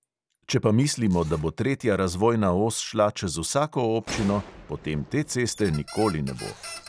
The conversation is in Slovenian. Če pa mislimo, da bo tretja razvojna os šla čez vsako občino, potem te ceste nikoli ne bo.